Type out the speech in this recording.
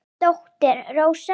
Þín dóttir Rósa.